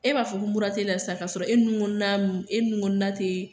E b'a fɔ ko mura tɛ e la sisan ka sɔrɔ e nunkɔnɔna nu e nunkɔnɔna tɛ